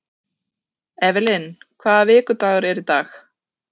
Evelyn, hvaða vikudagur er í dag?